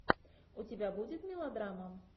у тебя будет мелодрама